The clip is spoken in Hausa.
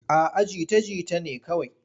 A'a jita-jita ne kawai.